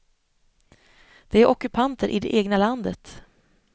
De är ockupanter i det egna landet.